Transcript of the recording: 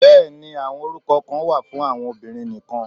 Bẹ́ẹ̀ni, àwọn orúkọ kan wà fún àwọn obìnrin nìkan.